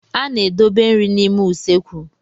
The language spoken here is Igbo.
A na-edobe nri n'ime usekwu.